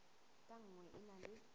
ka nngwe e na le